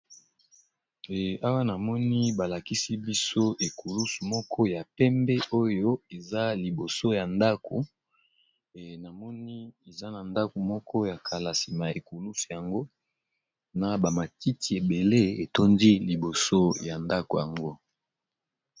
Awa namoni balakisi biso ekulusu moko ya pembe oyo eza liboso ya ndako namoni eza na ndako ya kala sima ya ekulusu yango na ba matiti ebele etondi liboso ya ndako yango.